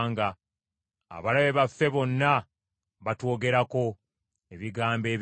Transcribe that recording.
“Abalabe baffe bonna batwogerako ebigambo ebibi.